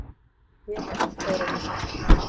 Ég er allt öðruvísi.